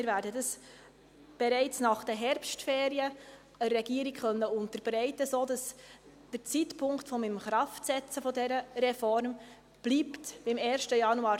Wir werden diese der Regierung bereits nach den Herbstferien unterbreiten können, sodass der Zeitpunkt des Inkraftsetzens dieser Reform beim 01.01.2020 bleibt.